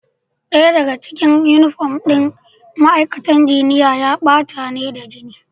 Daya daga cikin yunifom ɗin ma'aikatan jinya ya bata ne da jini.